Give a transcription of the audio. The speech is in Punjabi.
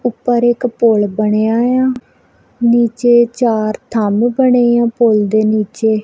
ਉਪਰ ਇੱਕ ਪੁਲ ਬਣਿਆ ਇਆ ਨੀਚੇ ਚਾਰ ਥੰਮ ਬਣੇ ਆ ਪੁਲ ਦੇ ਨੀਚੇ।